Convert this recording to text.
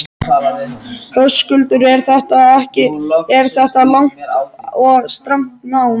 Höskuldur: Er þetta langt og strangt nám?